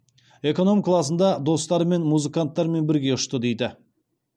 эконом класында достарымен музыкантармен бірге ұшты дейді